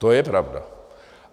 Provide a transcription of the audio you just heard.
To je pravda.